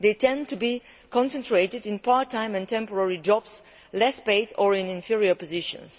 They tend to be concentrated in part time and temporary jobs that are less well paid, or in inferior positions.